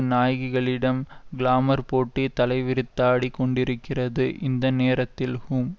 நாயகிகளிடம் glamour போட்டி தலைவிரித்தாடிக் கொண்டிருக்கிறது இந்த நேரத்தில் ஹூம்